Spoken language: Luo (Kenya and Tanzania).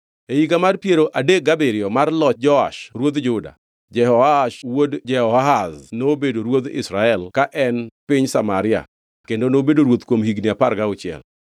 E higa mar piero adek gabiriyo mar loch Joash ruodh Juda, Jehoash wuod Jehoahaz nobedo ruodh Israel ka en piny Samaria kendo nobedo ruoth kuom higni apar gauchiel.